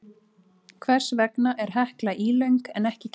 Hvers vegna er Hekla ílöng en ekki keila?